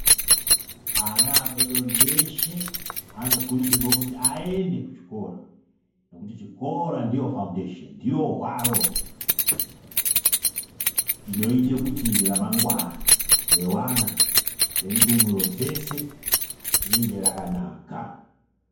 Ana adodori eshe, anokurudzirwa kuti ayende kuchikora, nokuti chikora ndiyo fawundesheni. Ndiyo waro inoyite kuti ramangwana rewana, rendumuro dzeshe, ringe rakanaka.